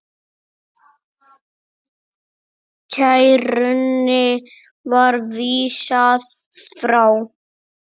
Kærunni var vísað frá.